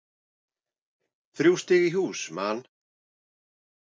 Þrjú stig í hús, Man.